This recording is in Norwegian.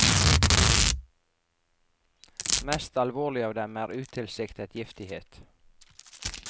Mest alvorlig av dem er utilsiktet giftighet.